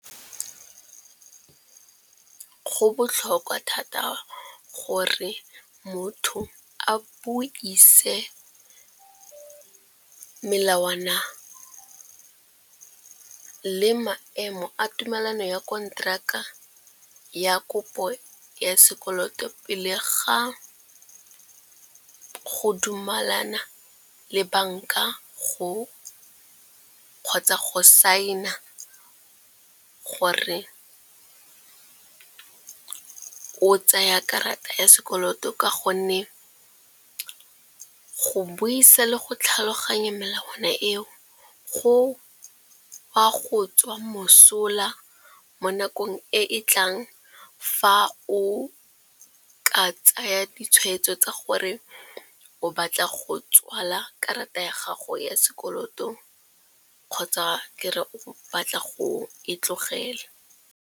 Go botlhokwa thata gore motho a buise melawana le maemo a tumelano ya konteraka ya kopo ya sekoloto pele ga go dumelana le banka kgotsa go sign-a gore o tsaya karata ya sekoloto. Ka gonne go buisa le go tlhaloganya melawana eo go a go tswa mosola mo nakong e e tlang fa o ka tsaya ditshwetso tsa gore o batla go tswala karata ya gago ya sekoloto kgotsa ke re o batla go e tlogela.